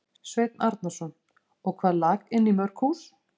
Sveinn Arnarson: Og hvað lak inn í mörg hús?